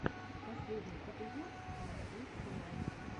последний эпизод ласт вик тунайт